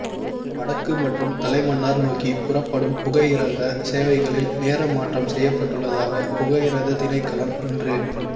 வடக்கு மற்றும் தலைமன்னார் நோக்கி புறப்படும் புகையிரத சேவைகளில் நேர மாற்றம் செய்யப்பட்டுள்ளதாக புகையிரத திணைக்களம் இன்று